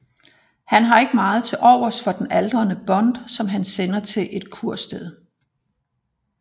Han har ikke meget til overs for den aldrende Bond som han sender til et kursted